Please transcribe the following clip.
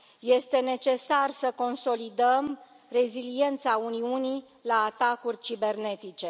Este necesar să consolidăm reziliența Uniunii la atacuri cibernetice.